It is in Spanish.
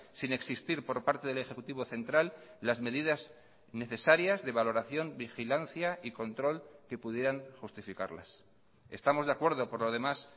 sin existir por parte del ejecutivo central las medidas necesarias de valoración vigilancia y control que pudieran justificarlas estamos de acuerdo por lo demás